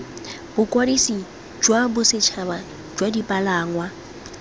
bokwadisi jwa bosetšhaba jwa dipalangwa